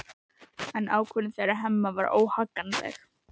En ákvörðun þeirra Hemma var óhagganleg.